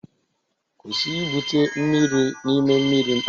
Kwụsị ibute mmiri n'ime mmiri mposi